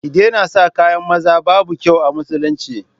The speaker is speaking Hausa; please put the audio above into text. Ki daina saka kayan maza, babu kyau a musulunci